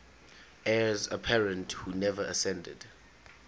heirs apparent who never acceded